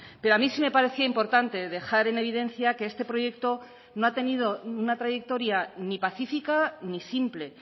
pero a mí sí me parecía importante dejar en evidencia que este proyecto no ha tenido una trayectoria ni pacífica ni simple